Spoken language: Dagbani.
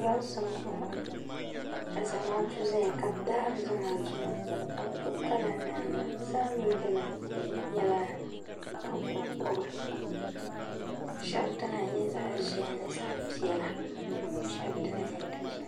Pirinsi m boŋɔ ka zamaatu zaya ka bɛ daari zamaatu maa ka bɛ gbibi kalanda nima bɛ zaa mee dini nyɛla zaɣa konkoba sheba dina nyɛ zaɣa ʒehi ni zaɣa piɛla sheba dina nyɛ zaɣa dozim.